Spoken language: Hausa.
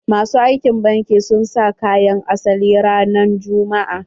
Masu aikin banki sun sa kayan asali ranan juma'a.